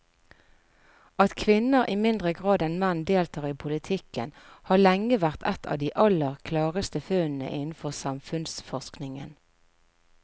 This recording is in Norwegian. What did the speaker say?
At kvinner i mindre grad enn menn deltar i politikken har lenge vært et av de aller klareste funnene innenfor samfunnsforskningen.